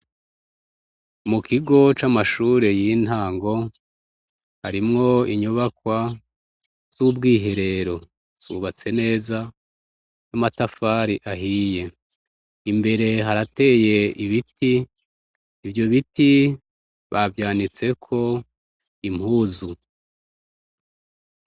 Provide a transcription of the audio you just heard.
Mu kigo c'amashure y'intango, harimwo inyubakwa z'ubwiherero zubatse neza n'amatafari ahiye. Imbere harateye ibiti, ivyo biti bavyanitseko impuzu.